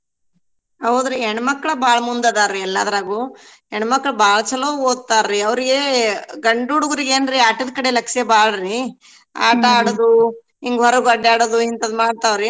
ಹೌದ್ರೀ ಹೆಣ್ಮಕ್ಳ ಬಾಳ್ ಮುಂದದಾರ್ರೀ ಎಲ್ಲಾದ್ರಾಗೂ ಹೆಣ್ಮಕ್ಳ ಬಾಳ್ ಚಲೋ ಓದ್ತಾರಿ ಅವ್ರಗೆ ಗಂಡ ಹುಡ್ಗೂರ್ಗೇನ್ರೀ ಆಟದ್ ಕಡೆ ಲಕ್ಷೆ ಬಾಳ್ರೀ ಹಿಂಗ ಹೊರ್ಗ ಅಡ್ಡಾಡೋದು ಇಂತಾದ್ ಮಾಡ್ತಾವ್ರೀ.